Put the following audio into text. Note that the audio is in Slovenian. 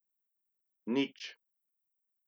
Nič.